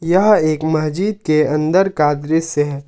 क्या एक मस्जिद के अंदर का दृश्य है।